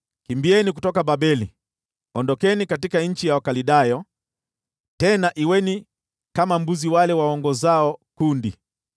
“Kimbieni kutoka Babeli; ondokeni katika nchi ya Wakaldayo tena kuweni kama mbuzi wale waongozao kundi.